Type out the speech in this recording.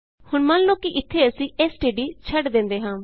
ਹੁਣ ਮੰਨ ਲਉ ਕਿ ਇਥੇ ਅਸੀਂ ਐਸਟੀਡੀ ਛੱਡ ਦਿੰਦੇ ਹਾਂ